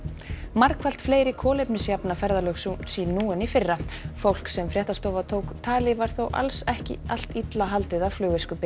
margfalt fleiri kolefnisjafna ferðalög sín nú en í fyrra fólk sem fréttastofa tók tali var þó alls ekki allt illa haldið af